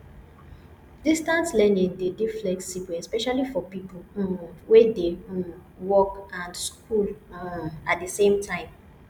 distance learning de dey flexible especially for pipo um wey dey um work and school um at di same time